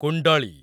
କୁଣ୍ଡଳୀ